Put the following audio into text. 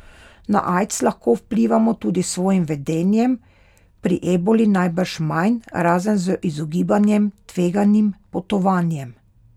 Na aids lahko vplivamo tudi s svojim vedenjem, pri eboli najbrž manj, razen z izogibanjem tveganim potovanjem.